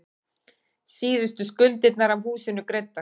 Síðustu skuldirnar af húsinu greiddar.